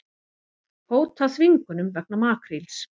Hóta þvingunum vegna makríls